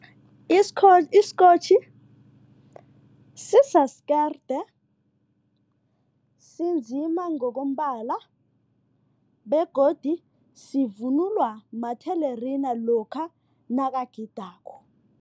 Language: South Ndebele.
Isikotjhi sisasi kerde sinzima ngokombala begodu sivunulwa mathelerina lokha nakagidako.